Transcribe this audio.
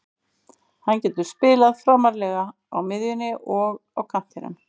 Hann getur spilað framarlega á miðjunni og á kantinum.